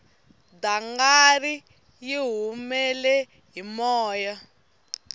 dangari yi humele hi moya